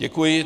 Děkuji.